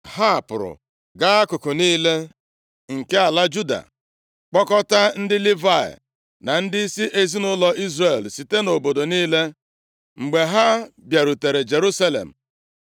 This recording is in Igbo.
Ha pụrụ gaa akụkụ niile nke ala Juda kpọkọta ndị Livayị na ndịisi ezinaụlọ Izrel site nʼobodo niile. Mgbe ha bịarutere Jerusalem,